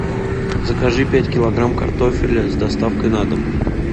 закажи пять килограмм картофеля с доставкой на дом